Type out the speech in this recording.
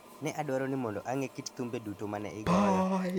Ne adwaro ni mondo ang'e kit thumbe duto ma ne igoyo.